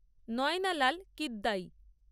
Nayanalal Kidwai